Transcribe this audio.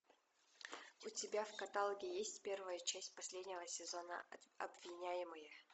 у тебя в каталоге есть первая часть последнего сезона обвиняемые